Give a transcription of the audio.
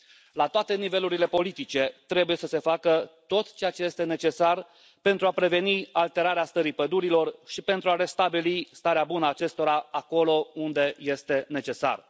La toate nivelurile politice trebuie să se facă tot ceea ce este necesar pentru a preveni alterarea stării pădurilor și pentru a restabili starea bună a acestora acolo unde este necesar.